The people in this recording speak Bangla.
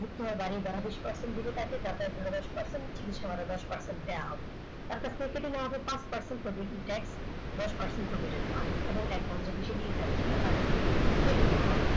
বহুত যারা বিষ percent visit আছে। যাতে দশ percent চিকিৎসা ভাড়া দশ percent দেওয়া হবে একটা processing নেওয়া হবে processing tax দশ percent provident fund এবং advance টাকা থেকে কেটে নেওয়া হবে